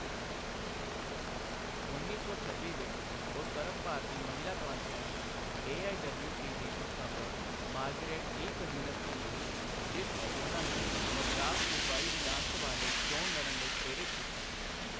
ਉੱਨੀ ਸੌ ਛੱਬੀ ਵਿੱਚ ਉਹ ਸਰਬ ਭਾਰਤੀ ਮਹਿਲਾ conference A. I. W. C. ਦੀ ਸੰਸਥਾਪਕ ਮਾਰਗਰੇਟ ਈ ਕਜ਼ੀਨਸ ਨੂੰ ਮਿਲੀ, ਜਿਸ ਨੇ ਉਹਨਾਂ ਨੂੰ ਮਦਰਾਸ ਸੂਬਾਈ ਵਿਧਾਨ ਸਭਾ ਲਈ ਚੋਣ ਲੜਨ ਲਈ ਪ੍ਰੇਰਿਤ ਕੀਤਾ।